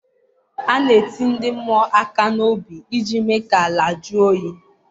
A na-eti ndị mmụọ aka n'obi iji mee ka ala jụọ oyi.